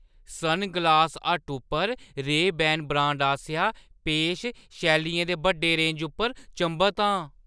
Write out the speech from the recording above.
Sunglass Hut उप्पर Ray Ban brand आसेआ पेश शैलियें दे बड्डे रेंज उप्पर चंभत आं।